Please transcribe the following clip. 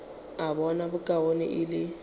a bona bokaone e le